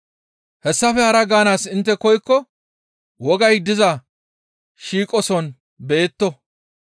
Hayssafe hara gaanaas intte koykko wogay diza shiiqoson beyetto.